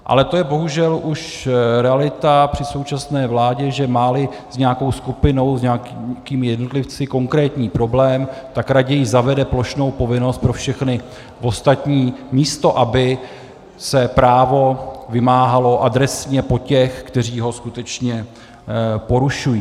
Ale to je bohužel už realita při současné vládě, že má-li s nějakou skupinou, s nějakými jednotlivci konkrétní problém, tak raději zavede plošnou povinnost pro všechny ostatní, místo aby se právo vymáhalo adresně po těch, kteří ho skutečně porušuji.